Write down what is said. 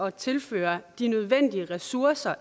at tilføre de nødvendige ressourcer